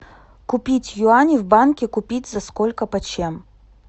купить юани в банке купить за сколько почем